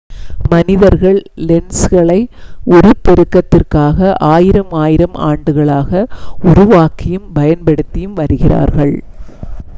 மனிதர்கள் லென்ஸ்களை உருப்பெருக்கத்திற்காக ஆயிரம் ஆயிரம் ஆண்டுகளாக உருவாக்கியும் பயன்படுத்தியும் வருகிறார்கள்